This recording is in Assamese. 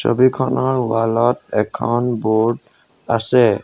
ছবিখনৰ ৱাল ত এখন ব'ৰ্ড আছে।